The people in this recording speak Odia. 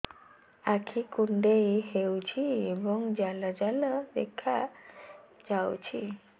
ଆଖି କୁଣ୍ଡେଇ ହେଉଛି ଏବଂ ଜାଲ ଜାଲ ଦେଖାଯାଉଛି